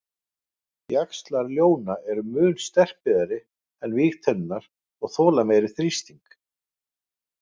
Jaxlar ljóna eru mun sterkbyggðari en vígtennurnar og þola meiri þrýsting.